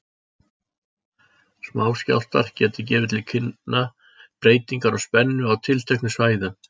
Smáskjálftar geta gefið til kynna breytingar á spennu á tilteknum svæðum.